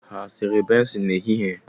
Ha e sere bensin n'ehihie?